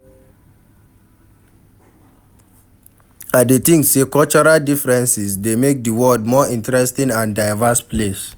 I dey think say cultural differences dey make di world more interesting and diverse place.